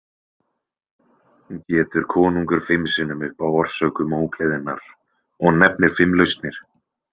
Getur konungur fimm sinnum upp á orsökum ógleðinnar og nefnir fimm lausnir.